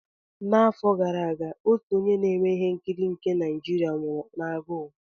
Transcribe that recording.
N'afọ gara aga, otu onye na-eme ihe nkiri nke Naijiria nwụrụ n'agụụ.